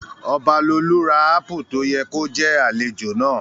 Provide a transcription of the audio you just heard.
Ọbalolú ra ápù tó yẹ kó jẹ́ àlejò náà